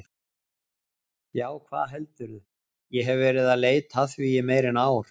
Já, hvað heldurðu, ég hef verið að leita að því í meira en ár.